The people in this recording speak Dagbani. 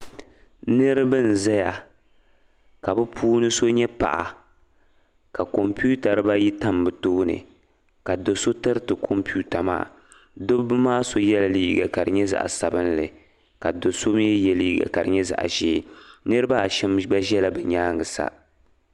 niriba n zaya ka bɛ puuni so nyɛ paɣa ka kɔmpita diba ayi tam bɛ tooni ka do' so tiriti kɔmpita maa dabba maa so yela liiga ka di nyɛ zaɣ' sabinlli ka do' so mi ye liiga ka di nyɛ zaɣ' ʒee niriba asham gba zala bɛ nyaanga sa